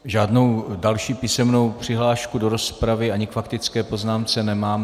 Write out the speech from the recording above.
Žádnou další písemnou přihlášku do rozpravy ani k faktické poznámce nemám.